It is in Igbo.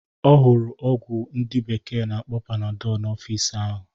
Ọ hụrụ ọgwụ ndị bekee na-akpọ Panadọl n'ọfịs ahụ.